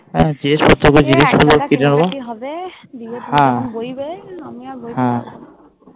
বেশ জিনিস সব কিনে নেবো